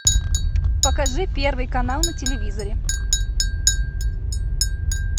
покажи первый канал на телевизоре